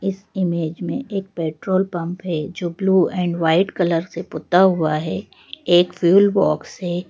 इस इमेज में एक पेट्रोल पंप है जो ब्लू एंड वाइट कलर से पुता हुआ है एक फ्यूल बॉक्स है।